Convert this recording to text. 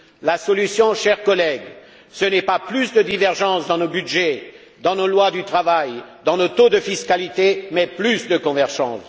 La solution, chers collègues, ce n'est pas plus de divergences dans nos budgets, dans nos lois sur le travail, dans nos taux de fiscalité, mais plus de convergence!